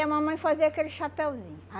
mamãe fazia aquele chapeuzinho.